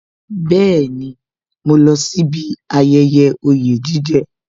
Bẹẹni, mo lọ sí bí ayẹyẹ oye jije